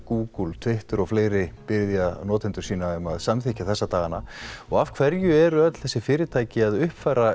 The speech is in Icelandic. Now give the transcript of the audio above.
Google Twitter og fleiri biðja notendur sína um samþykkja þessa dagana og af hverju eru öll þessi fyrirtæki að uppfæra